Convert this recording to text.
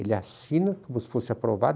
Ele assina como se fosse aprovado.